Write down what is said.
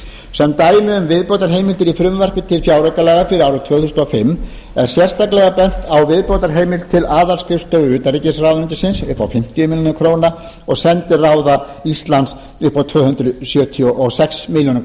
sem dæmi um viðbótarheimildir í frumvarpi til fjáraukalaga fyrir árið tvö þúsund og fimm er sérstaklega bent á viðbótarheimild til aðalskrifstofu utanríkisráðuneytisins upp á fimmtíu milljónir króna og sendiráða íslands upp á tvö hundruð sjötíu og sex milljónir